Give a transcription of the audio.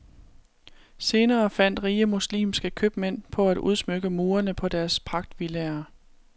Senere fandt rige muslimske købmænd på at udsmykke murene på deres pragtvillaer.